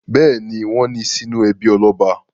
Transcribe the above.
Bẹ́ẹ̀ ni, wọ́n ní sínú ẹbí ọlọ́ba.